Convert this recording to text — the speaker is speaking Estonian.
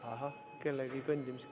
Oota, kuni vaikuse saame.